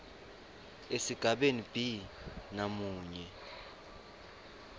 esigabeni b namunye